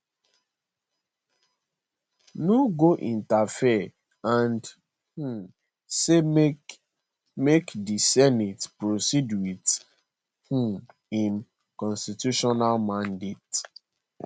no go interfere and um say make make di senate proceed with um im constitutional mandate